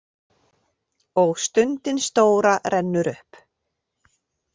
Og stundin stóra rennur upp.